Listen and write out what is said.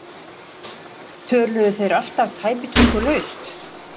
Heimir: Töluðu þeir alltaf tæpitungulaust?